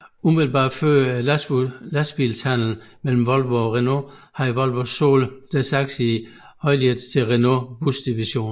Umiddelbart før lastbilshandlen mellem Volvo og Renault havde Volvo solgt deres aktier i Heuliez til Renaults busdivision